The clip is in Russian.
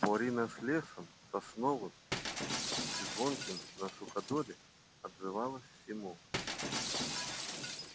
борина с лесом сосновым и звонким на суходоле отзывалась всему